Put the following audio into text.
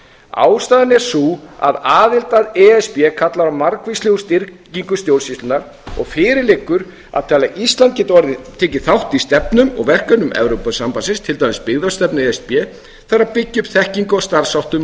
ástæðan er sú að aðild að e s b kallar á margvíslega styrkingu stjórnsýslunnar og fyrir liggur að til að ísland geti tekið þátt í stefnum og verkefnum evrópusambandsins til dæmis byggðastefnu e s b þarf að byggja upp þekkingu á